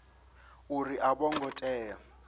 uri a vho ngo tea